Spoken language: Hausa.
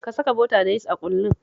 Ka saka bota da yis a ƙullun